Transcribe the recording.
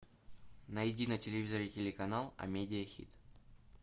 найди на телевизоре телеканал амедиа хит